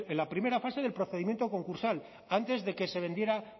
la primera fase del procedimiento concursal antes de que se vendiera